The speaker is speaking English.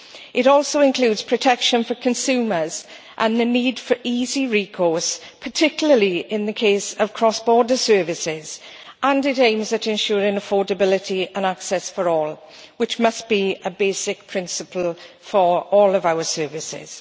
It also includes protection for consumers, and the need for easy recourse, particularly in the case of cross border services and it aims at ensuring affordability and access for all, which must be a basic principle for all of our services.